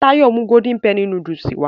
Táyọ̀ mú golden penny núdúsì wá